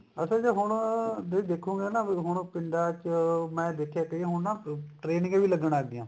ਅੱਛਾ ਜੇ ਹੁਣ ਦੇਖੋਗੇ ਨਾ ਵੀ ਹੁਣ ਪਿੰਡਾ ਚ ਮੈਂ ਦੇਖਿਆ ਇਹ ਹੁਣ ਨਾ training ਵੀ ਲੱਗਣ ਲੱਗ ਗਿਆ